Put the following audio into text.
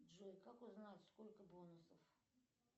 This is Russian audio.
джой как узнать сколько бонусов